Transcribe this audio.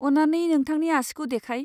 अन्नानै नोंथांनि आसिखौ देखाय।